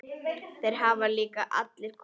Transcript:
Þeir hafa líka allir komið.